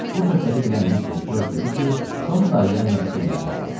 Bu söhbəti bilən mister George dedi ki, Tom dayıya məktub yazmaq lazımdır.